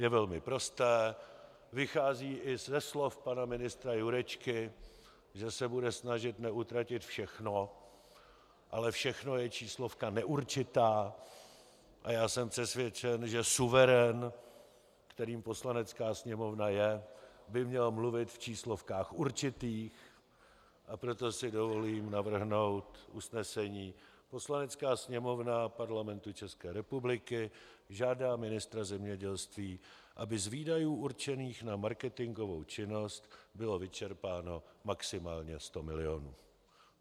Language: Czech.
Je velmi prosté, vychází i ze slov pana ministra Jurečky, že se bude snažit neutratit všechno, ale všechno je číslovka neurčitá a já jsem přesvědčen, že suverén, kterým Poslanecká sněmovna je, by měl mluvit v číslovkách určitých, a proto si dovolím navrhnout usnesení: "Poslanecká sněmovna Parlamentu České republiky žádá ministra zemědělství, aby z výdajů určených na marketingovou činnost bylo vyčerpáno maximálně 100 milionů."